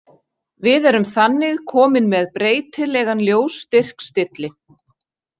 Við erum þannig komin með breytilegan ljósstyrkstilli.